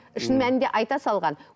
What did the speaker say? шын мәнінде айта салған